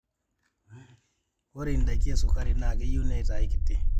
ore indaiki esukari naa keyieu neitae kiti